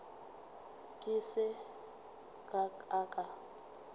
ke se ka ka ka